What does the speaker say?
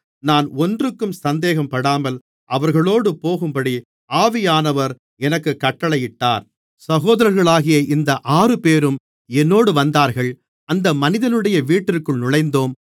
நான் ஒன்றுக்கும் சந்தேகப்படாமல் அவர்களோடு போகும்படி ஆவியானவர் எனக்குக் கட்டளையிட்டார் சகோதரர்களாகிய இந்த ஆறுபேரும் என்னோடு வந்தார்கள் அந்த மனிதனுடைய வீட்டிற்குள் நுழைந்தோம்